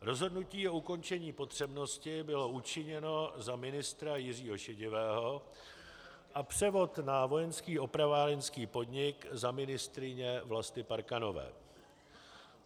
Rozhodnutí o ukončení potřebnosti bylo učiněno za ministra Jiřího Šedivého a převod na Vojenský opravárenský podnik za ministryně Vlasty Parkanové.